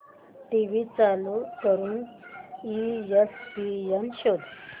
TV चालू करून ESPN शोध